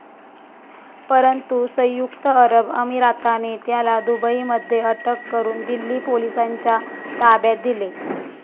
परंतु सयुंक्त अरब अमिराताने त्याला दुबईमध्ये अटक करून दिल्ली पोलिसांच्या ताब्यात दिले.